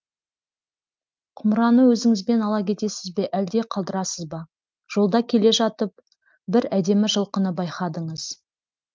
құмыраны өзіңізбен ала кетесіз бе әлде қалдырасыз ба жолда келе жатып бір әдемі жылқыны байқадыңыз